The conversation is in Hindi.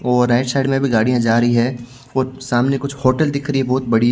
और राइट साइड में भी गाड़ियां जा रही है और सामने कुछ होटल दिख रही है बहुत बढ़िया--